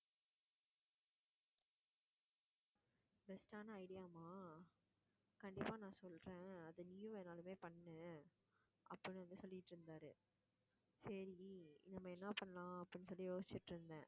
best ஆனா idea யாவாம் கண்டிப்பா நான் சொல்றேன் அதை நீயும் என்னாலுமே பண்ணு அப்படின்னு வந்து சொல்லிட்டு இருந்தாரு. சரி நம்ம என்ன பண்ணலாம் அப்படின்னு சொல்லி யோசிச்சிட்டு இருந்தேன்